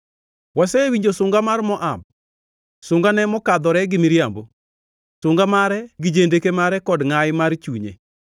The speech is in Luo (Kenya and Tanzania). “Wasewinjo sunga mar Moab, sungane mokadhore gi miriambo, sunga mare gi jendeke mare kod ngʼayi mar chunye.”